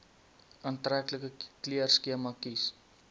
aantreklike kleurskema kies